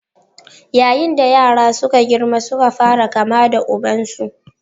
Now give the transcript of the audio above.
Yayin da yaran suka girma suka fara kama da ubansu.